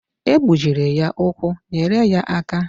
E gbujiri ya ụkwụ, nyere ya aka!